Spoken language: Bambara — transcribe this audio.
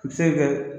A bɛ se kɛ